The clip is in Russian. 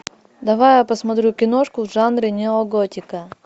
давай я посмотрю киношку в жанре неоготика